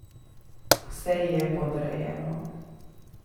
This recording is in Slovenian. Vse ji je podrejeno.